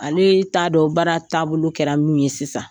Ale t'a dɔn baara taabolo kɛra min ye sisan,